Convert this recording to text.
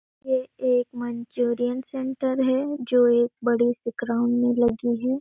ये एक Manchurian centre है जो एक बड़े -से ग्राउंड में लगी हैं ।